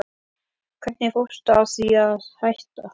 Hvernig fórstu að því að hætta?